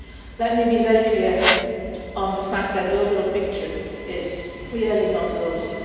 Let me be very clear on the fact that the overall picture is clearly not rosy.